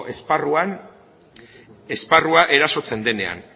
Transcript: esparrua erasotzen denean